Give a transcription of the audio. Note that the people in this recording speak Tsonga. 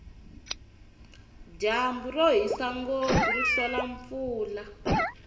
dyambu rohisa ngopfu ri hlola mpfula